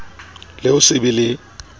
le ho se be le